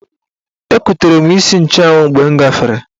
Ekutere m isi nchụanwụ mgbe m gafere.